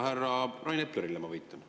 Härra Rain Eplerile ma viitan.